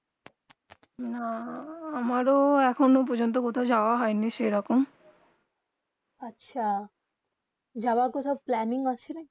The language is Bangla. না আমার এখন প্রজন্ত যাওবা হইয়া নি সেই রকম আচ্ছা যাওবা কহাঁটু প্ল্যানিং আছে না কি